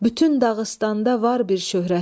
Bütün Dağıstanda var bir şöhrətim.